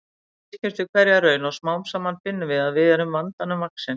Við styrkjumst við hverja raun og smám saman finnum við að við erum vandanum vaxin.